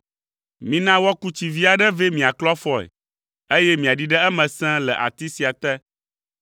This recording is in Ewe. Mina woaku tsi vi aɖe vɛ miaklɔ afɔe, eye miaɖi ɖe eme sẽe le ati sia te,